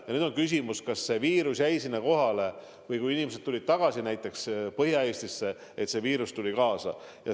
Ja nüüd on küsimus, kas viirus jäi sinna kohale või kui inimesed tulid tagasi näiteks Põhja-Eestisse, siis viirus tuli kaasa.